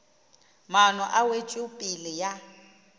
ao maano a wetšopele ya